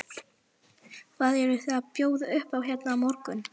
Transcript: Hvað eruð þið að bjóða upp á hérna á morgun?